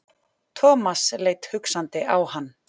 Thomas leit hugsandi á hann.